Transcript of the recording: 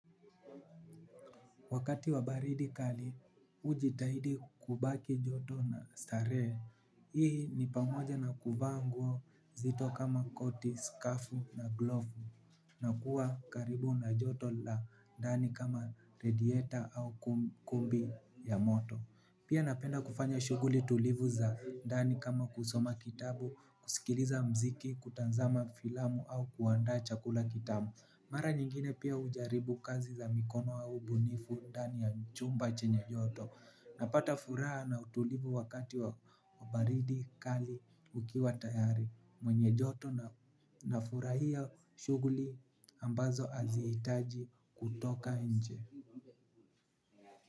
Wakati wabaridi kali, hujitahidi kubaki joto na starehe, hii ni pamoja na kuvaanguo nzito kama koti, skafu na glovu, na kuwa karibu na joto la ndani kama redieta au kumbi ya moto. Pia napenda kufanya shughuli tulivu za ndani kama kusoma kitabu, kusikiliza muziki, kutazama filamu au kuandaa chakula kitamu. Mara nyingine pia hujaribu kazi za mikono au ubunifu ndani ya chumba chenye joto. Napata furaha na utulivu wakati wa baridi, kali, ukiwa tayari. Mwenye joto na furahia shughuli ambazo hazitaji kutoka nje.